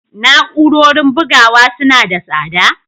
Na'urorin bugawa suna da tsada?